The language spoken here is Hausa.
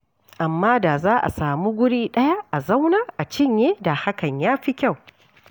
Amma da za a samu wuri ɗaya a zauna a cinye da hakan ya fi kyau.